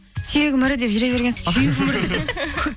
сүйегім ірі деп жүре бергенсіз ғой